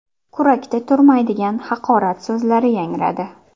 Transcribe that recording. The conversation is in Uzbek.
Kurakda turmaydigan haqorat so‘zlari yangradi.